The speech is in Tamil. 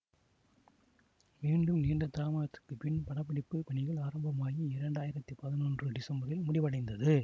மீண்டும் நீண்ட தாமதத்துக்குப்பின் படப்பிடிப்புப் பணிகள் ஆரம்பமாகி இரண்டாயிரத்தி பதினொன்று டிசம்பரில் முடிவடைந்தது